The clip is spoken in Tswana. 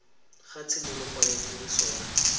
ga tshimologo ya tiriso ya